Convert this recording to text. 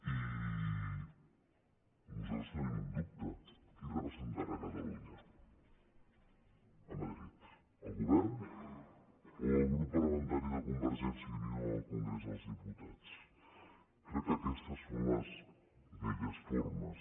i nosaltres tenim un dubte qui representarà catalunya a madrid el govern o el grup parlamentari de convergència i unió al congrés dels diputats crec que aquestes són les velles formes